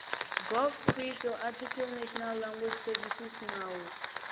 gov pri tsoarticlenational language servicesnawu